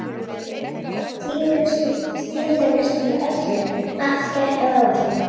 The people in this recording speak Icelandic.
Flugið var tíðindalaust með öllu, allt gekk að áætlun.